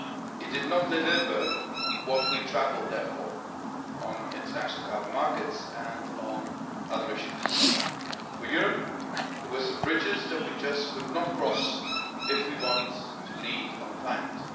It did not deliver what we had travelled there for on international carbon markets and on other issues. For Europe, there were some bridges that we just could not cross if we want to lead on climate